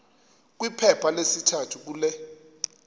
kwiphepha lesithathu kule